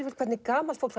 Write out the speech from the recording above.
hvernig gamalt fólk